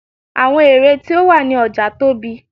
àwọn ère tí ó wà ní ọja tóbi